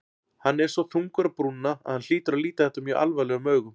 Hann er svo þungur á brúnina að hann hlýtur að líta þetta mjög alvarlegum augum.